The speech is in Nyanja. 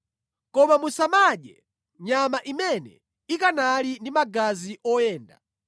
“Koma musamadye nyama imene ikanali ndi magazi oyenda.